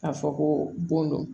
A fɔ ko bon don